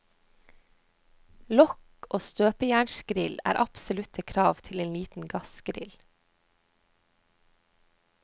Lokk og støpejernsgrill er absolutte krav til en liten gassgrill.